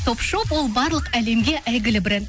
топ шоп ол барлық әлемге әйгілі бренд